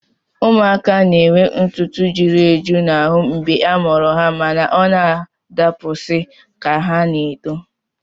Ụmụaka na-enwe ntụtụ juru eju n'ahụ ihe a mụrụ ha mana ọ na-adapụsị ka ha na-eto